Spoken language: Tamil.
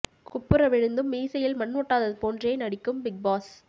குப்புற விழுந்தும் மீசையில் மண் ஒட்டாதது போன்றே நடிக்கும் பிக் பாஸ்